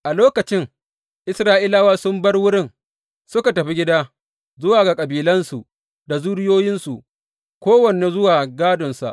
A lokacin, Isra’ilawa sun bar wurin suka tafi gida zuwa ga kabilansu da zuriyoyinsu, kowane zuwa gādonsa.